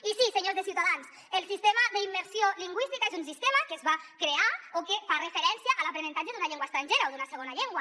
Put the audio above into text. i sí senyors de ciutadans el sistema d’immersió lingüística és un sistema que es va crear o que fa referència a l’aprenentatge d’una llengua estrangera o d’una segona llengua